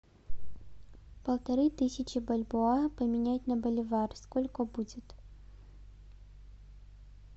полторы тысячи бальбоа поменять на боливар сколько будет